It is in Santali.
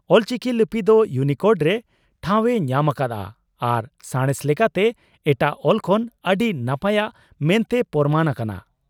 ᱚᱞᱪᱤᱠᱤ ᱞᱤᱯᱤ ᱫᱚ ᱭᱩᱱᱤᱠᱳᱰ ᱨᱮ ᱴᱷᱟᱣ ᱮ ᱧᱟᱢᱟᱠᱟᱫᱼᱟ ᱟᱨ ᱥᱟᱬᱮᱥ ᱞᱮᱠᱟᱛᱮ ᱮᱴᱟᱜ ᱚᱞ ᱠᱷᱚᱱ ᱟᱹᱰᱤ ᱱᱟᱯᱟᱭᱟᱜ ᱢᱮᱱᱛᱮ ᱯᱚᱨᱢᱟᱱ ᱟᱠᱟᱱᱟ ᱾